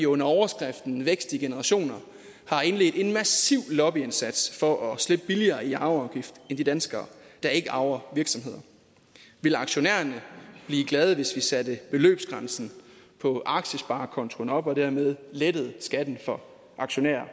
under overskriften vækst i generationer har indledt en massiv lobbyindsats for at slippe billigere i arveafgift end de danskere der ikke arver virksomheder ville aktionærerne blive glade hvis vi satte beløbsgrænsen på aktiesparekontoen op og dermed lettede skatten for aktionærer